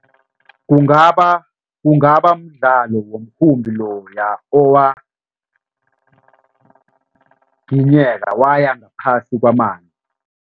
Kungaba kungaba mdlalo womkhumbi loya owaginyeka waya ngaphasi kwamanzi.